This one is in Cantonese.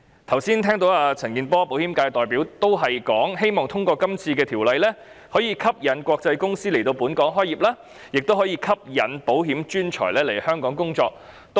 我剛才聽到保險界代表陳健波議員表示，通過這項《條例草案》後，可以吸引國際公司來港開業，亦可以吸引保險專才來港工作。